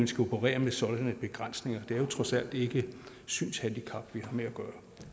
skulle operere med sådanne begrænsninger det er trods alt ikke synshandicap